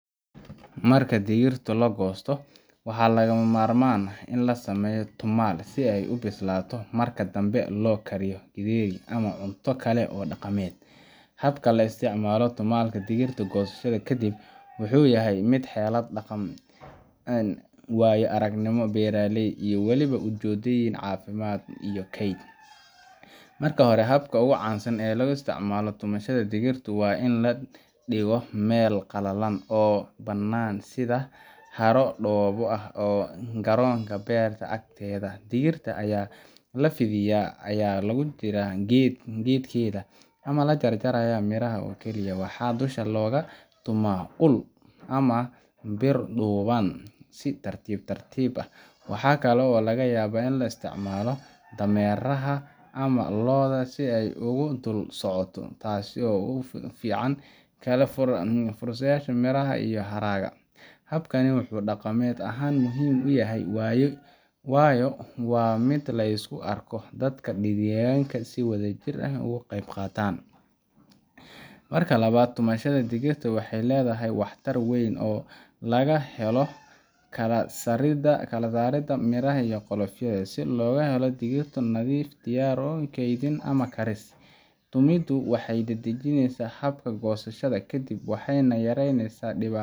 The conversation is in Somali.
Marka digirta la gosto waxa laga marmaan ah in lasameyo tumaal si ey ubislaato marka dame lo kariyo giideri ama cunta kale oo daqamed habka lo isticmaalo tumadka digirta gosaashada kadib wuxu yahay mid xelo daqaan wayo araagnimo beerley walibo ujoodeyni cafimaad marka hore habka caansan ee laga istiicmalo tumashadda digirta waain ladiigo mel qalaalan oo banaan sidaa haaro duwaa ah garonka beerta agteeda digirta aya lafiidiya aya jira gedkedha ama lajarjaraya waxa dusha laga duma uul ama biir duwaan si tartibtartib ah waaxa kale oo laga yaba in la isticmaalo dameraha ama looda si ey ugu dol saacoto taasi oo fican kala fog fursadasha mirah iyo haraaga habkani wuxu daqamed ahaan yaahay wayo waa mid la iskuaarko daadka digalyalka si wada jir ah uqaatan marka lawaad tumashadda digirta waxey ledaahay waax taar weyn oo laga helo kala sarida mirah iyo qolifiida si lago helo digirto nadiifiya kedhin ama kariis tumido waxey dadagineysa habka go sashaada waxena yareysa tibaatada